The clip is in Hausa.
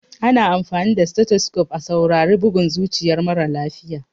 Ana amfani da stethoscope a saurari bugun zuciyar mara lafiya.